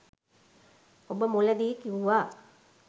ඔබ මුලදි කිව්වා